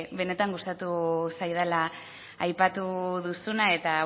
benetan gustatu zaidala aipatu duzuna eta